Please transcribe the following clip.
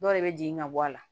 Dɔw de bɛ jigin ka bɔ a la